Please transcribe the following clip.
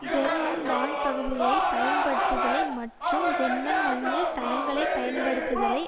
German வான்பகுதியைப் பயன்படுத்தலை மற்றும் ஜெர்மன் மண்ணில் தளங்களை பயன்படுத்தலை